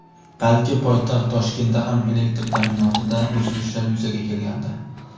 balki poytaxt Toshkentda ham elektr ta’minotida uzilishlar yuzaga kelgandi.